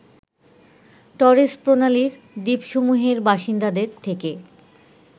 Torres প্রণালীর দ্বীপসমূহের বাসিন্দাদের থেকে